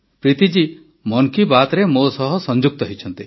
ପ୍ରୀତି ଜୀ ମନ୍ କି ବାତ୍ରେ ମୋ ସହ ସଂଯୁକ୍ତ ହୋଇଛନ୍ତି